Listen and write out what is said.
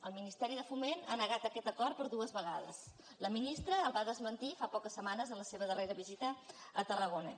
el ministeri de foment ha negat aquest acord per dues vegades la ministra el va desmentir fa poques setmanes en la seva darrera visita a tarrago·na